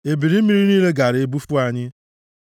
ebili mmiri niile gaara ebufu anyị.